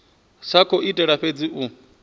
sa khou itela fhedzi u